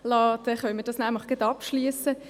Dann können wir das nämlich gleich abschliessen.